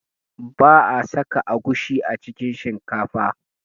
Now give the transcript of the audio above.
Ba'a saka agushi a cikin shinkafa